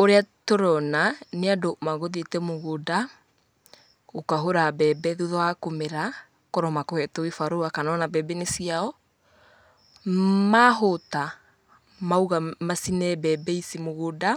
Ũrĩa tũrona nĩ andũ magũthiĩte mũgũnda, gũkahũra mbembe thutha wa kũmera, akorwo mekũhetwo gĩbarũa kana ona mbembe nĩ ciao, mahũta maũga macine mbebe ici mũgũnda.